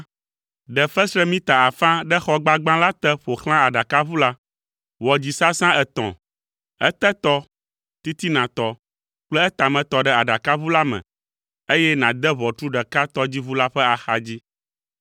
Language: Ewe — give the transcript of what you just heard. Ɖe fesre mita afã ɖe xɔ gbagbã la te ƒo xlã aɖakaʋu la. Wɔ dzisasã etɔ̃, etetɔ, titinatɔ kple etametɔ ɖe aɖakaʋu la me, eye nàde ʋɔtru ɖeka tɔdziʋu la ƒe axadzi.